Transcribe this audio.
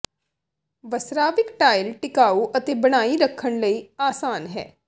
ਵਸਰਾਵਿਕ tile ਟਿਕਾਊ ਅਤੇ ਬਣਾਈ ਰੱਖਣ ਲਈ ਆਸਾਨ ਹੈ